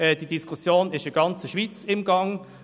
Die Diskussion ist in der ganzen Schweiz im Gange.